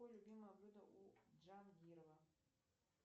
какое любимое блюдо у джангирова